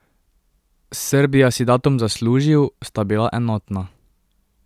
Srbija si datum zaslužil, sta bila enotna.